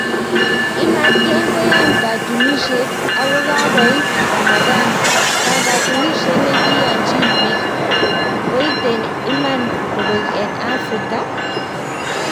Imatgeng koyan katunishet ako kakoit Ramadh ,"Kwang katunishet nekiyachin pik koiten iman kopek eng afrika?